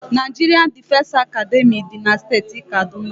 Naijiria Difesi Academị dị na steeti Kaduna.